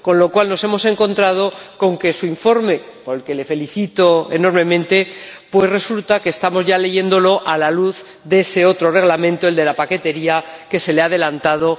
Con lo cual, nos hemos encontrado con que su informe —por el que le felicito enormemente— lo estamos leyendo a la luz de ese otro Reglamento, el de la paquetería, que se le ha adelantado.